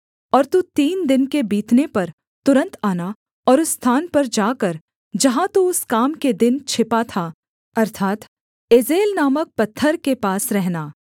और तू तीन दिन के बीतने पर तुरन्त आना और उस स्थान पर जाकर जहाँ तू उस काम के दिन छिपा था अर्थात् एजेल नामक पत्थर के पास रहना